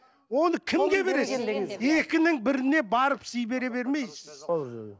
оны кімге бересің екінің біріне барып сый бере бермейсіз